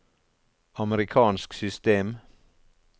amerikansk system